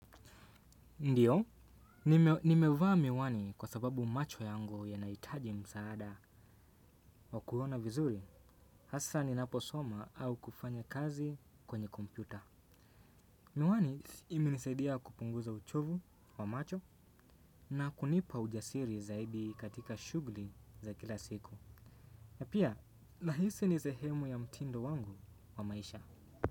Ndiyo, nimeva miwani kwa sababu macho yangu yanaitaji msaada wa kuona vizuri, hasa ni naposoma au kufanya kazi kwenye kompyuta. Miwani imenisadia kupunguza uchovu wa macho na kunipa ujasiri zaidi katika shugli za kila siku. Napia, nahisi ni sehemu ya mtindo wangu wa maisha.